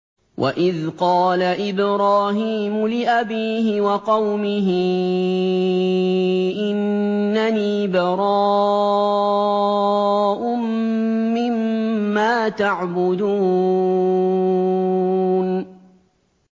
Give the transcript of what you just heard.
وَإِذْ قَالَ إِبْرَاهِيمُ لِأَبِيهِ وَقَوْمِهِ إِنَّنِي بَرَاءٌ مِّمَّا تَعْبُدُونَ